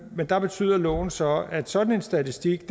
men der betyder loven så at sådan en statistik